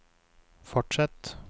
fortsett